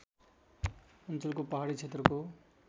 अञ्चलको पहाडी क्षेत्रको